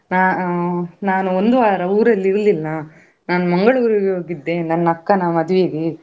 ಅಹ್ ನಾನು ಒಂದು ವಾರ ಊರಲ್ಲಿ ಇರ್ಲಿಲ್ಲ ನಾನು Mangalore ಗೆ ಹೋಗಿದ್ದೆ ನನ್ನ ಅಕ್ಕನ ಮದುವೆಗೆ.